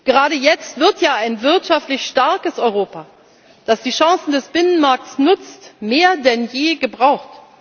Gerade jetzt wird ja ein wirtschaftlich starkes Europa, das die Chancen des Binnenmarkts nutzt, mehr denn je gebraucht.